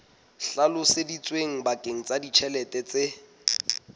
hlalositsweng bakeng sa ditjhelete tse